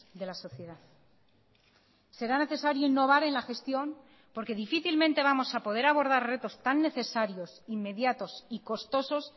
de la sociedad será necesario innovar en la gestión porque difícilmente vamos a poder abordar retos tan necesarios inmediatos y costosos